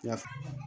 Yaf